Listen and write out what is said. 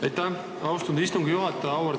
Aitäh, austatud istungi juhataja!